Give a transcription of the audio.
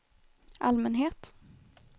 allmänhet